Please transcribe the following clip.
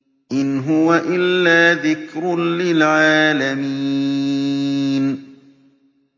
إِنْ هُوَ إِلَّا ذِكْرٌ لِّلْعَالَمِينَ